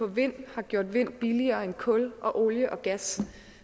vind har gjort vind billigere end kul og olie og gas